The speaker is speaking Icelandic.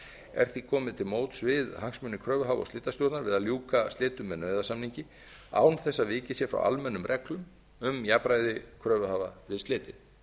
er því komið til móts við hagsmuni kröfuhafa og slitastjórnar við að ljúka slitum með nauðasamningi án þess að vikið sé frá almennum reglum um jafnræði kröfuhafa við slitin